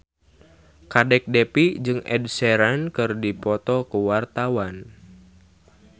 Kadek Devi jeung Ed Sheeran keur dipoto ku wartawan